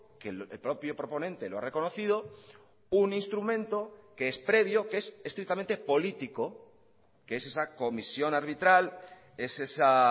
que el propio proponente lo ha reconocido un instrumento que es previo que es estrictamente político que es esa comisión arbitral es esa